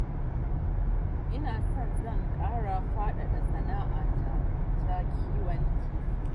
Ina so zan ƙara faɗaɗa sana'a ta ta kiwon kifi